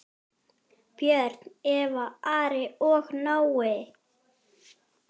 Börn: Eva, Ari og Nói.